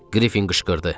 Qrifin qışqırdı.